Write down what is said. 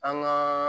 An gaa